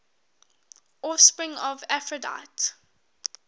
offspring of aphrodite